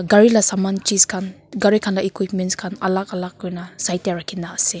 gari laga saman chis khan gari khan laga equipments khan alak alak kurina side tae rakhina ase.